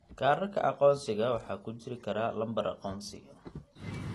Kaadhadhka aqoonsiga waxa ku jiri kara lambar aqoonsi.